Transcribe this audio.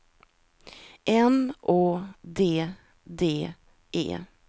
M Å D D E